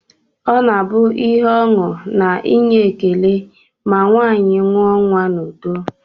Ọ na-abụ ihe ọṅụ na inye ekele ma nwaanyị mụọ nnwa n'udo